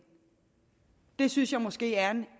det synes jeg måske er